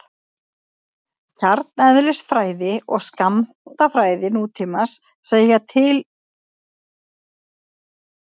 kjarneðlisfræði og skammtafræði nútímans segja fyrir um hugsanlega stöðuga kjarna